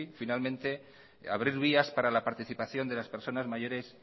finalmente abrir vías para la participación de las personas mayores